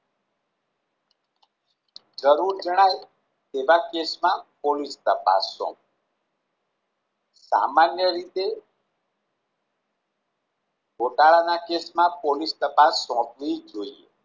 જરૂર જણાય તેવા કેશ માં પોલિશ તપાસ સોંપવી સામાન્ય રીતે ગોટાળા ના કેશમાં પોલિસ તપાસ સોંપવી જોઈએ